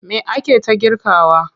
Me ake ta girkawa?